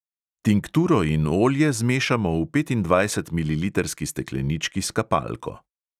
Tinkturo in olje zmešamo v petindvajsetmililitrski steklenički s kapalko.